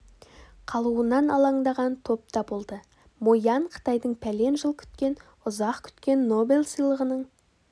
қалуынан алаңдаған топ та болды мо ян қытайдың пәлен жыл күткен ұзақ күткен нобель сыйлығының